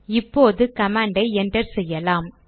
இப்போது கமாண்டை என்டர் செய்யலாம்